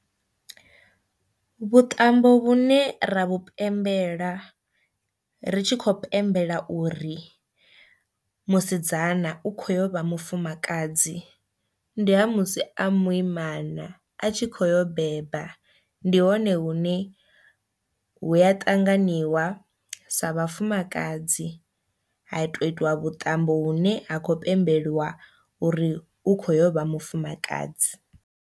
Vhuṱambo vhune ra vhu pembela ri tshi khou pembela uri musidzana u kho yo vha mufumakadzi ndi ha musi a muimana a tshi kho yo u beba ndi hone hune hu ya ṱanganiwa sa vhafumakadzi ha tou itiwa vhuṱambo hu ne ha khou pembeliwa uri u kho yo vha mufumakadzi.